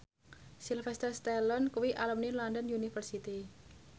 Sylvester Stallone kuwi alumni London University